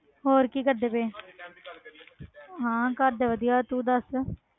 ਹੋਰ ਕੀ ਕਰਦੇ ਪਏ ਹਾਂ ਘਰਦੇ ਵਧੀਆ ਤੂੰ ਦੱਸ।